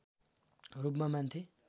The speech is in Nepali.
रूपमा मान्थे